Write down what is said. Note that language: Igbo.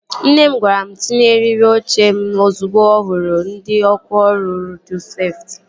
Nne m gwara m tinye eriri oche m ozugbo ọ hụrụ ndị ọkwá ọrụ rodu seftị